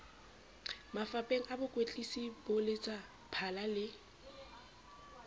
mafapheng a bokwetlisi boletsaphala le